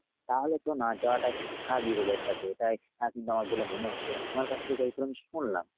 তাহলে তো না যাওয়াটাই স্বাভাবিক ওদের সাথে এটাই আহ কিন্তু আমার মনে হচ্ছে। মানে তোমার কাছ থেকে যতটুকু আমি শুনলাম।